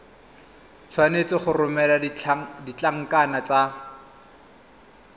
tshwanetse go romela ditlankana tse